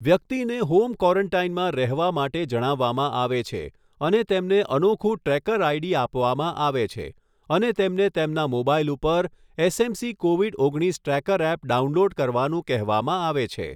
વ્યક્તિને હોમ ક્વોરેન્ટાઈનમાં રહેવા માટે જણાવવામાં આવે છે અને તેમને અનોખું ટ્રેકર આઈડી આપવામાં આવે છે અને તેમને તેમના મોબાઈલ ઉપર એસએમસી કોવિડ ઓગણીસ ટ્રેકર એપ ડાઉનલોડ કરવાનું કહેવામાં આવે છે.